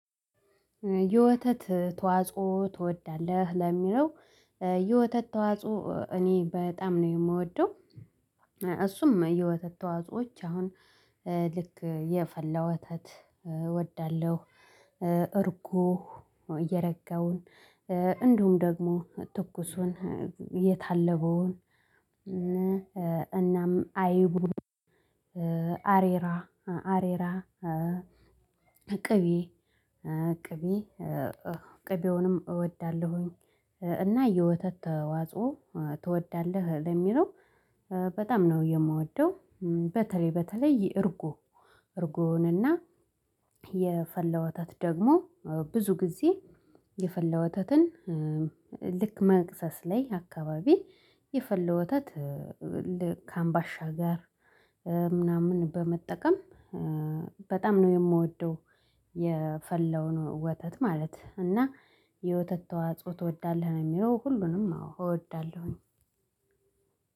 የወተት ተዋጽኦ ትወዳለህ ለሚለው? የወተት ተዋጽኦ እኔ በጣም ነው የምወደው። እሱም የወተት ተዋጾዎች አሁን ልክ የፈላ ወተት እወዳለሁ። እርጎ የረጋውን እንዲሁም ደግሞ ትኩሱን የታለበውን እናም አይቡን አሬራ አሬራ ቅቤ ቅቤ ቅቤውንም እወዳለሁኝ። እና የወተት ተዋጽኦ ትወዳለህ ለሚለው? በጣም ነው የምወደው። በተለይ በተለይ እርጎ እርጎንና የፈላ ወተት ደግሞ ብዙ ጊዜ የፈላ ወተትን ልክ መክሰስ ላይ አካባቢ የፈላ ወተት ልክ አምባሻ ጋር ምናምን በመጠቀም በጣም ነው የምወደው። የፈላውን ወተት ማለት እና የወተት ተዋጽኦ ትወዳለህ? ነው የሚለው ሁሉንም አዎ እወዳለሁኝ።